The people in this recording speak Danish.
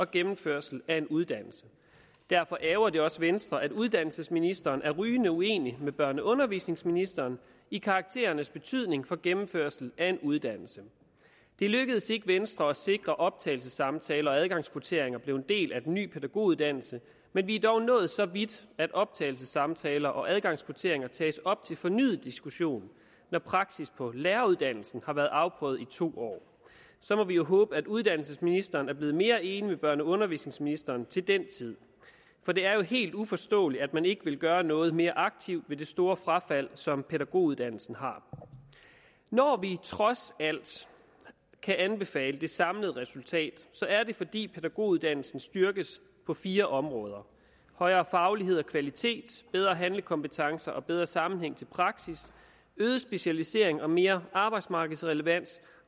gennemførelse af en uddannelse derfor ærgrer det også venstre at uddannelsesministeren er rygende uenig med børne og undervisningsministeren i karakterernes betydning for gennemførelse af en uddannelse det lykkedes ikke venstre at sikre at optagelsessamtaler og adgangskvotienter blev en del af den nye pædagoguddannelse men vi er dog nået så vidt at optagelsessamtaler og adgangskvotienter tages op til fornyet diskussion når praksis på læreruddannelsen har været afprøvet i to år så må vi jo håbe at uddannelsesministeren er blevet mere enig med børne og undervisningsministeren til den tid for det er jo helt uforståeligt at man ikke vil gøre noget mere aktivt ved det store frafald som pædagoguddannelsen har når vi trods alt kan anbefale det samlede resultat er det fordi pædagoguddannelsen styrkes på fire områder højere faglighed og kvalitet bedre handlekompetence og bedre sammenhæng til praksis øget specialisering og mere arbejdsmarkedsrelevans